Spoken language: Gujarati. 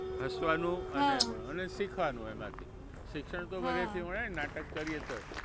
હસવાનું અને અને શીખવાનું એમાંથી, શિક્ષણ તો બધે થી મળે નાટક કરીએ તોય.